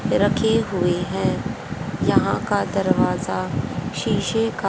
रखी हुई है यहां का दरवाजा शीशे का--